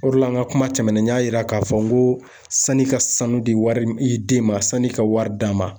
O de la an ka kuma tɛmɛnenw n y'a yira k'a fɔ n ko sanni ka sanu de wari i den ma sanni ka wari d'a ma.